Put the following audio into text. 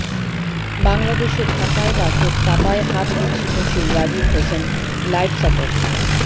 বাংলাদেশের ঢাকায় বাসের চাপায় হাত বিচ্ছিন্ন সেই রাজীব হোসেন লাইফ সাপোর্টে